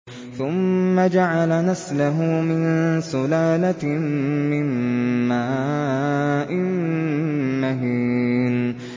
ثُمَّ جَعَلَ نَسْلَهُ مِن سُلَالَةٍ مِّن مَّاءٍ مَّهِينٍ